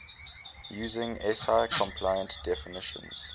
using si compliant definitions